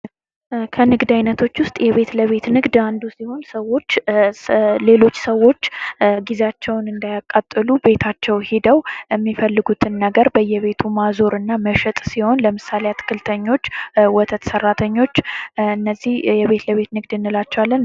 ከንግድ አይነቶች ውስጥ የቤት ለቤት ንግድ አንዱ ሲሆን ሰዎች ሌሎች ሰዎች ጊዜያቸው እንዳያቃጥሉ ቤታቸው ሄደው የሚፈልጉትን ነገር በየቤቱ ማዞር እና መሸጥ ሲሆን ለምሳሌ፦ አትክልተኞች፣ ወተት ስራተኞች እነዚህ የቤት ለቤት ንግድ እንላቸዋለን።